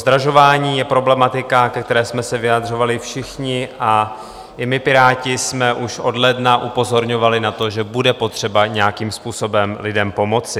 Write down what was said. Zdražování je problematika, ke které jsme se vyjadřovali všichni, a i my Piráti jsme už od ledna upozorňovali na to, že bude potřeba nějakým způsobem lidem pomoci.